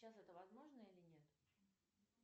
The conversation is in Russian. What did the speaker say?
сейчас это возможно или нет